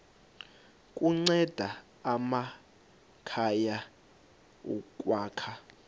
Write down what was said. kunceda amakhaya ukwakha